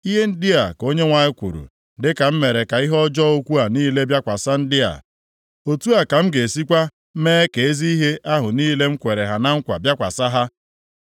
“Ihe ndị a ka Onyenwe anyị kwuru, Dịka m mere ka ihe ọjọọ ukwuu a niile bịakwasị ndị a, otu a ka m ga-esikwa mee ka ezi ihe ahụ niile m kwere ha na nkwa bịakwasị ha.